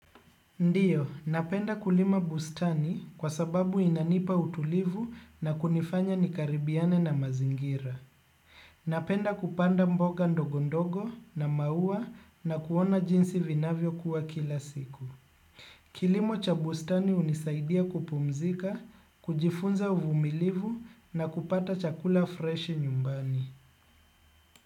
Ndiyo, napenda kulima bustani kwa sababu inanipa utulivu na kunifanya nikaribiane na mazingira. Napenda kupanda mboga ndogo ndogo na maua na kuona jinsi vinavyokua kila siku. Kilimo cha bustani hunisaidia kupumzika, kujifunza uvumilivu na kupata chakula freshi nyumbani.